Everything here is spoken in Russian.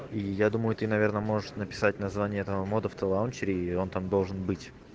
я думаю ты наверное можешь написать название этого мода в тлаунчере и он там должен быть